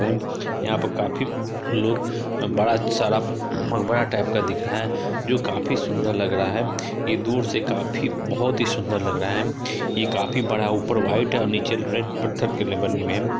यहाँ पर काफी बड़ा सारा यह मगहरा टाइप्स का दिख रहा है जो काफी सुंदर लग रहा है यह दूर से काफी बहुत ही सुंदर लग रहा है यह काफी बड़ा ऊपर वाइट् निचे रेड पत्थर किल्ले बने हुए है।